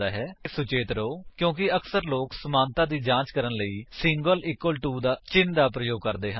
ਕ੍ਰਿਪਾ ਸੁਚੇਤ ਰਹੋ ਕਿਉਂਕਿ ਅਕਸਰ ਲੋਕ ਸਮਾਨਤਾ ਦੀ ਜਾਂਚ ਕਰਨ ਲਈ ਸਿੰਗਲ ਇਕਵਲ ਟੂ ਚਿੰਨ੍ਹ ਦਾ ਪ੍ਰਯੋਗ ਕਰਦੇ ਹਨ